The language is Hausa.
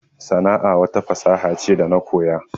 Sana'a wata fasaha ce da na koya